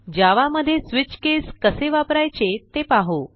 जावा मध्ये switch case कसे वापरायचे ते पाहू